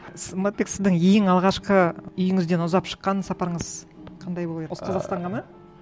сымбатбек сіздің ең алғашқы үйіңізден ұзап шыққан сапарыңыз қандай болып еді осы қазақстанға ма